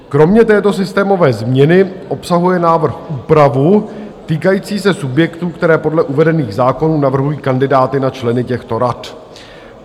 Kromě této systémové změny obsahuje návrh úpravu týkající se subjektů, které podle uvedených zákonů navrhují kandidáty na členy těchto rad.